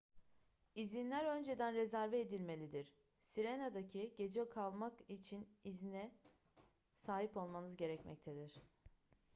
i̇zinler önceden rezerve edilmelidir. sirena'da gece kalmak için izne sahip olmanız gerekmektedir